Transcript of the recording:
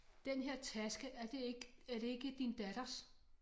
Den her taske er det ikke er det ikke din datters